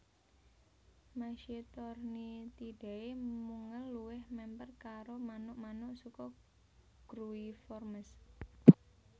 Mesitornithidae mungel luwih mèmper karo manuk manuk suku Gruiformes